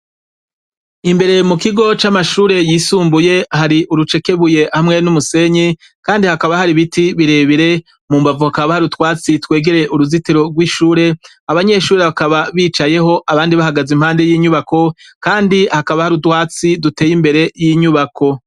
Imbere mukigo c'Amashure y'isumbuye hari urucekebuye hamwe n'umusenyi kandi hakaba hari ibiti birebire, mumbavu hakaba hari utwatsi twegereye uruzitiro rw'ishure abanyeshure bakaba bicayeho abandi bahagaze iruhande yinyubako kandi hakaba hari utwatsi duteye imbere y'inyubako.